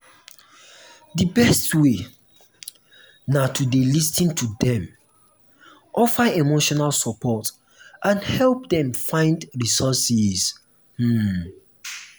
di best way na to dey lis ten to dem offer emotional support and help dem find resources. um